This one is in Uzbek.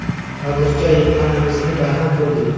Hozircha, yiqqanimizni baham ko‘rdik.